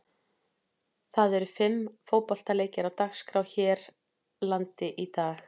Það eru fimm fótboltaleikir á dagskrá hér landi í dag.